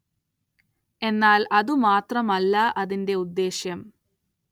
എന്നാല്‍ അതു മാത്രമല്ല അതിന്റെ ഉദ്ദേശ്യം